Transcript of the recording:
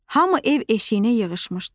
Hamı ev eşiyinə yığışmışdı.